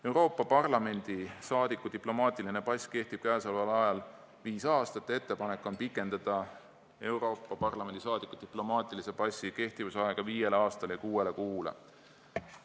Euroopa Parlamendi liikme diplomaatiline pass kehtib praegu viis aastat, ettepanek on pikendada Euroopa Parlamendi liikme diplomaatilise passi kehtivusaega viiele aastale ja kuuele kuule.